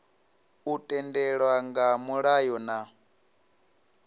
u tendelwa nga mulayo na